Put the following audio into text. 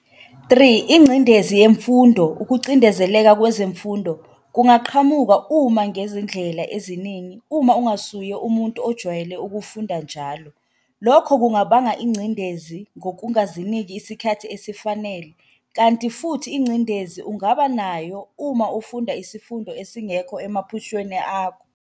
3 Ingcindezi yemfundo-ukucindezeleka kwezemfundo kungaqhamuka uma ngezindlela eziningi uma ungasuye umuntu ojwayele ukufunda njalo lokho kungabanga igcindezi ngokungaziniki isikhathi esifanele Kanti futhi ingcendezi ungaba nayo uma ufunda isifundo esingekho emaphushweni akho.